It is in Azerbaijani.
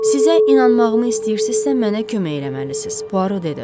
Sizə inanmağımı istəyirsizsə, mənə kömək eləməlisiz, Poaro dedi.